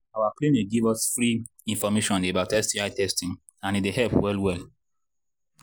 our clinic they give us give us free information about sti testing and he they help well well